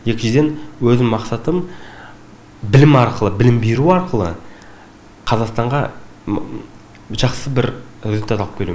екіншіден өзімнің мақсатым білім арқылы білім беру арқылы қазақстанға жақсы бір результат алып келу